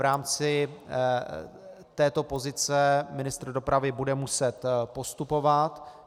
V rámci této pozice ministr dopravy bude muset postupovat.